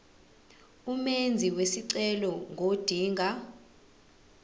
umenzi wesicelo ngodinga